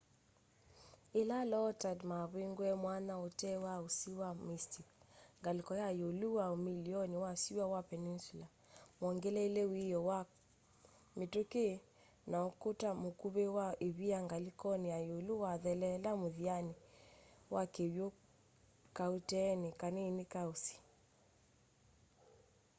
yĩla low tide mavingũie mwanya ũtee wa ũsĩ wa mystic ngalĩko ya ĩũlĩ wa umĩloni wa syũa wa peninsula mongeleelie wiio kwa mĩtũkĩ na ũkũta mũkuvĩ wa ĩvia ngalĩkonĩ ya ĩũlũ wathelela mũthianĩ wa kĩw'ũ kaũteenĩ kanini ka ũsĩ